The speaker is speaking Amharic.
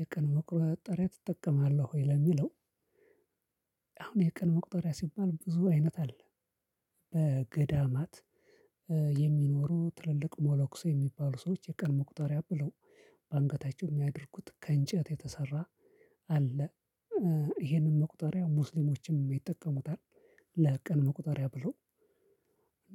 የቀን መቁጠሪያ ትጠቀማለህ ወይ ለሚለው? አሁን የቀን መቁጠሪያ ሲባል ብዙ አይነት አለ። በገዳማት የሚኖሩ ትልልቅ ሞለኩሴ የሚባሉ ሰዎች የቀን መቁጠሪያ ብለው በአንገታቸው የሚያደርጉት ከእንጨት የተሰራ አለ። ይሄንን መቁጠሪያ ሙስሊሞችንም ይጠቀሙታል ለቀን መቁጠሪያ ብሎ